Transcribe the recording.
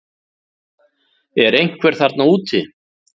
Er einhver þarna úti